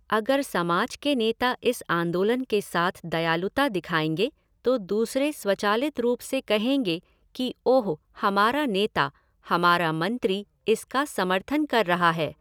अगर समाज के नेता इस आंदोलन के साथ दयालुता दिखाएंगे तो दूसरे स्वचालित रूप से कहेंगे कि ओह हमारा नेता, हमारा मंत्री इसका समर्थन कर रहा है।